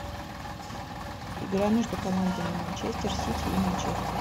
игра между командами манчестер сити и манчестер